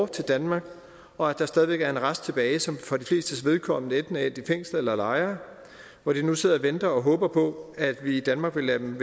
til danmark og at der stadig væk er en rest tilbage som for de flestes vedkommende enten er endt i fængsel eller lejre hvor de nu sidder og venter og håber på at vi i danmark vil lade dem